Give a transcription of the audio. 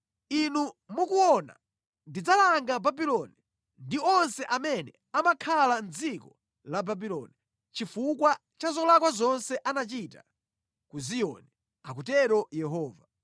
“Inu mukuona ndidzalanga Babuloni ndi onse amene amakhala mʼdziko la Babuloni chifukwa cha zolakwa zonse anachita ku Ziyoni,” akutero Yehova.